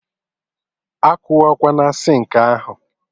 Akụwakwana sinkị ahụ?